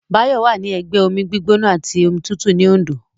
Báyọ̀ wà ní ẹgbẹ́ omi gbígbóná àti omi tútù ní Òndó